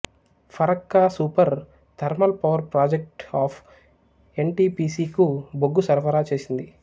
Farakka super thermal power project of N T P C కు బొగ్గు సరఫరా చేసింది